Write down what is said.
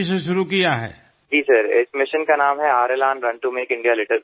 રિપુદમનઃ જી સાહેબ આ મિશનનું નામ છે આર આઇ એલાન run to make India litter free